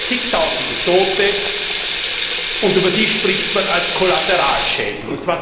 Zigtausende Tote, und über die spricht man als Kollateralschäden.